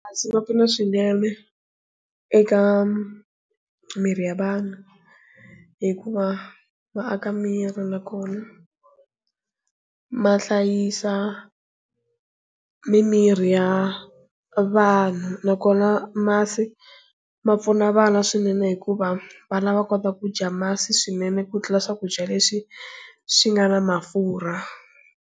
Masi ma pfuna swinene eka miri ya vanhu hikuva va aka miri nakona ma hlayisa mimiri ya vanhu nakona masi ma pfuna vana swinene hikuva va lava kota kudya masi swinene ku tlula swakudya leswi swi nga na mafurha.